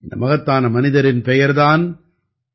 இந்த மகத்தான மனிதரின் பெயர் தான் என்